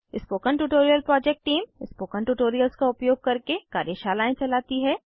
spoken tutorial project team spoken tutorials का उपयोग करके कार्यशालाएं चलाती है